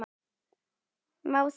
Má það ekki?